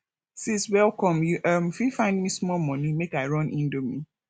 sis welcome you um fit find me small moni make i run indomie